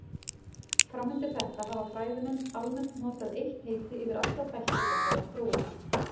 Fram undir þetta hafa fræðimenn almennt notað eitt heiti yfir alla þætti þessarar þróunar.